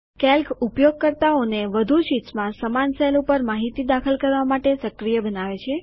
Calc ઉપયોગકર્તાઓને વધુ શીટ્સમાં સમાન સેલ ઉપર માહિતી દાખલ કરવા માટે સક્રિય બનાવે છે